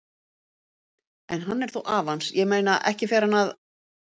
En hann er þó afi hans, ég meina, ekki fer hann að.